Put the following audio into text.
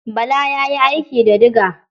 Bala ya yi aiki da diga.